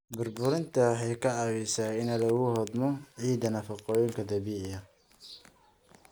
Burburinta waxay ka caawisaa in lagu hodmo ciidda nafaqooyinka dabiiciga ah.